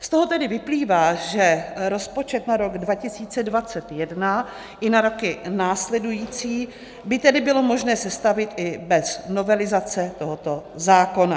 Z toho tedy vyplývá, že rozpočet na rok 2021 i na roky následující by tedy bylo možné sestavit i bez novelizace tohoto zákona.